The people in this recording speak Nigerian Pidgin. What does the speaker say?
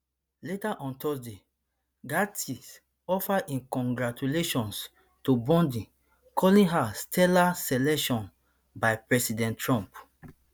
later on thursday gaetz offer im congratulations to bondi calling her stellar selection by president trump